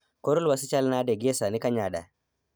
Kor lwasi chal nade gie sani Kanyada?